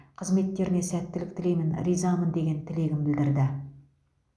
қызметтеріне сәттілік тілеймін ризамын деген тілегін білдірді